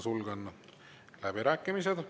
Sulgen läbirääkimised.